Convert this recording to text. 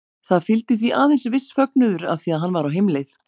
Það fylgdi því aðeins viss fögnuður af því hann var á heimleið.